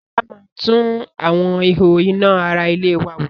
Sọlá máa tún àwọn ihò iná ara ilé wa wò